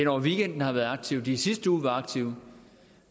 over weekenden har været aktive de i sidste uge var aktive